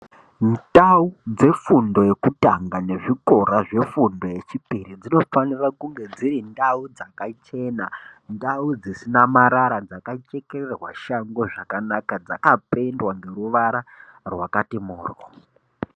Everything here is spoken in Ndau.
Ndau dzefundo yekutanga nezvikora zvefundo yechipiri dzinofanire kunge dzirindau dzakachena, ndau dzisina marara, dzakachekererwe shango zvakanaka, dzakapendwa neruvara rwakati mhoryo.